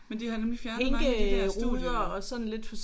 Men de har nemlig fjernet mange af de der studie øh